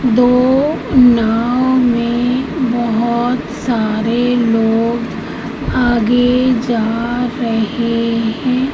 दो नाव में बहोत सारे लोग आगे जा रहे हैं।